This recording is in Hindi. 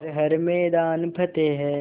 कर हर मैदान फ़तेह